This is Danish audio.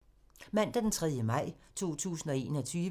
Mandag d. 3. maj 2021